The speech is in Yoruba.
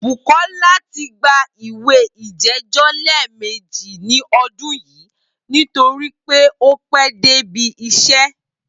Bùkó̩lá ti gba ìwé ìjé̩jó̩ lé̩è̩mejì ní o̩dún yìí nítorí pé ó pé̩ dé ibi is̩é̩